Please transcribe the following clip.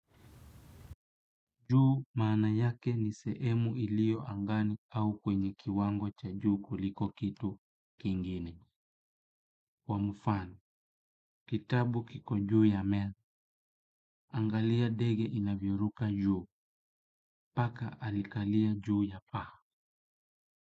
Juu maana yake ni sehemu iliyo angani au kwenye kiwango cha juu kuliko kitu kingine. Kwa mfano, kitabu kiko juu ya me, angalia ndege inavyoruka juu, paka alikalia juu ya paa.